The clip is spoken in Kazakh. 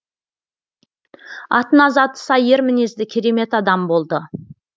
атына заты сай ер мінезді керемет адам болды